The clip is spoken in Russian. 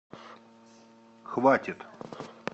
хватит